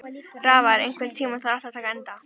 Rafnar, einhvern tímann þarf allt að taka enda.